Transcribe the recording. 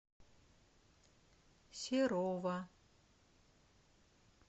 серова